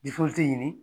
ɲini